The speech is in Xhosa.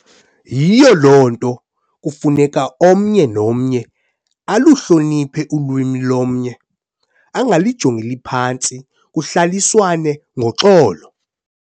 Yiyo loo nto kufuneka omnye nomnye aluhloniphe ulwimi lomnye , angalijongeli phantsi kulahliswane ngoxolo.